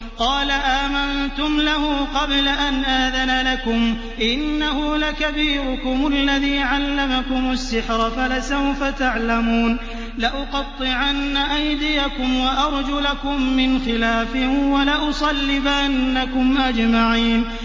قَالَ آمَنتُمْ لَهُ قَبْلَ أَنْ آذَنَ لَكُمْ ۖ إِنَّهُ لَكَبِيرُكُمُ الَّذِي عَلَّمَكُمُ السِّحْرَ فَلَسَوْفَ تَعْلَمُونَ ۚ لَأُقَطِّعَنَّ أَيْدِيَكُمْ وَأَرْجُلَكُم مِّنْ خِلَافٍ وَلَأُصَلِّبَنَّكُمْ أَجْمَعِينَ